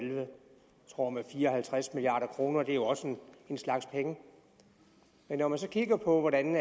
tror med fire og halvtreds milliard kroner det er jo også en slags penge men når man så kigger på hvordan